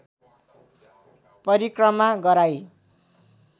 परिक्रमा गराई